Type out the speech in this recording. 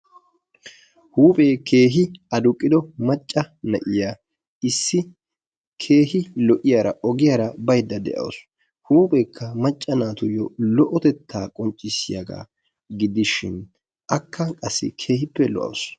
Huuphee keehi adduqqido macca na'iyaa issi keehi lo''iyaara ogiyaara baydda de"awus. huupheekka macca naatuyo lo''otetta qonccissiyaaga gidishin akka qassi keehippe lo''awus.